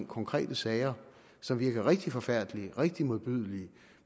konkrete sager som virker rigtig forfærdelige rigtig modbydelige